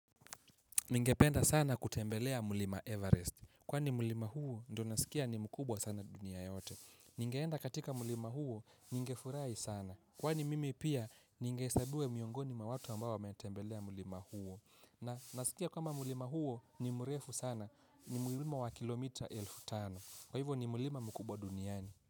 Ningependa sana kutembelea mlima Everest. Kwani mlima huo, ndio nasikia ni mkubwa sana dunia yote. Ningeenda katika mlima huo, ningefurahi sana. Kwani mimi pia, ningehesabiwa miongoni mwa watu ambao wametembelea mlima huo. Na nasikia kama mlima huo, ni mrefu sana. Ni mlima wa kilomita elfu tano. Kwa hivyo ni mlima mkubwa duniani.